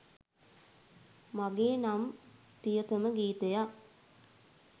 මගේ නම් ප්‍රියතම ගීතයක්.